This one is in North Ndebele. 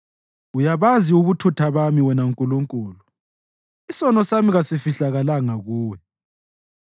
Uyabazi ubuthutha bami, wena Nkulunkulu; isono sami kasifihlakalanga kuwe.